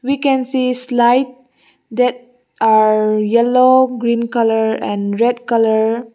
we can see slide there are yellow green colour and red colour.